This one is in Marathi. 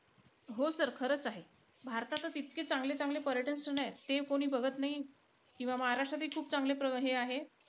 हो sir खरंच आहे. भारतातचं इतके चांगले-चांगले पर्यटन स्थळ आहेत ते कोणी बघत नाई. किंवा महाराष्ट्रातही खूप चांगले हे आहे.